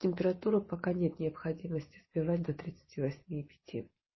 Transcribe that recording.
температуру пока нет необходимости сбивать до тридцати восьми и пяти